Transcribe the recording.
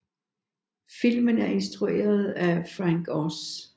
Filmen er instrueret af Frank Oz